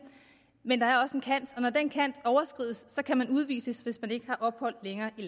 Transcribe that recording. men der er også en kant når den kant overskrides kan man udvises hvis man ikke længere har ophold